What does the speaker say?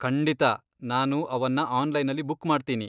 ಖಂಡಿತಾ, ನಾನು ಅವನ್ನ ಆನ್ಲೈನಲ್ಲಿ ಬುಕ್ ಮಾಡ್ತೀನಿ.